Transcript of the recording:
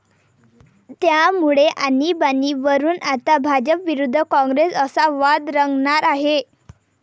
त्यामुळे आणिबाणीवरुन आता भाजप विरुद्ध काँग्रेस असा वाद रंगणार आहे.